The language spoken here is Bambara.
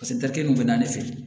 kelen kun bɛ na ne fɛ yen